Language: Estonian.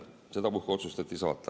Sedapuhku otsustati saata.